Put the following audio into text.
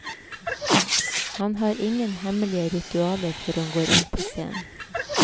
Han har ingen hemmelige ritualer før han går inn på scenen.